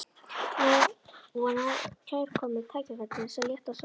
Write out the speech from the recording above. Nú var kærkomið tækifæri til þess að létta á samviskunni.